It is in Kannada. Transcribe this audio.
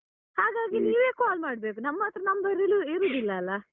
ಹಾಗಾಗಿ ನೀವೇ call ಮಾಡ್ಬೇಕು ನಮ್ಹತ್ರ number ಇರು~ ಇರುದಿಲ್ಲಲ್ಲ.